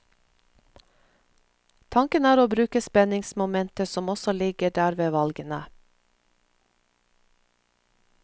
Tanken er å bruke spenningsmomentet som også ligger der ved valgene.